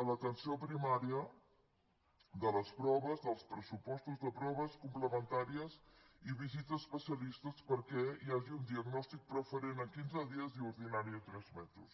a l’atenció primària de les proves dels pressupostos de proves complementàries i visita a especialistes perquè hi hagi un diagnòstic preferent en quinze dies i ordinari en tres mesos